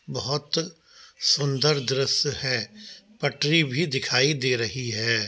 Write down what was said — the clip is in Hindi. बहुत सुन्दर दृश्य है। पटरी भी दिखाई दे रही है।